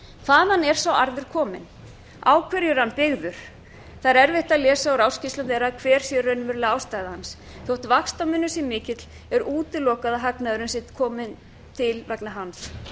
hvaðan er sá arður kominn á hverju er hann byggður það er erfitt að lesa úr ársskýrslum um hver sé raunverulega ástæðan þó vaxtamunur sé mikill er útilokað að hagnaðurinn sé kominn til vegna hans